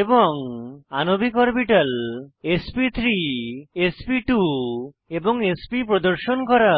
এবং আণবিক অরবিটাল এসপি3 এসপি2 এবং এসপি প্রদর্শন করা